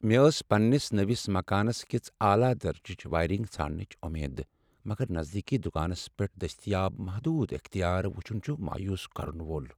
مےٚ ٲس پننس نٔوس مکانس کِژھ اعلی درجٕچ وایرنگ ژھانڈنٕچ امید، مگر نزدیکی دکانس پیٹھ دستیاب محدود اختیار وُچُھن چُھ مایوس کرن وول ۔